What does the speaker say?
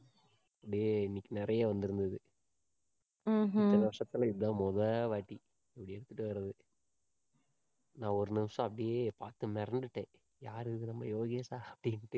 அப்பிடியே இன்னைக்கு நெறைய வந்துருந்தது இத்தனை வருஷத்துல இதான் முதவாட்டி அப்பிடி எடுத்துட்டு வர்றது நான் ஒரு நிமிஷம் அப்பிடியே பாத்து மிரண்டுட்டேன் யாரு இது நம்ம யோகேஷா அப்படின்னுட்டு